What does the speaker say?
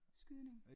Skydning